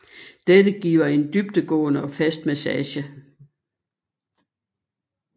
Dette giver en dybdegående og fast massage